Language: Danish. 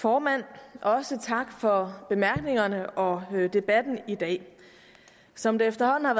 formand og også tak for bemærkningerne og debatten i dag som det efterhånden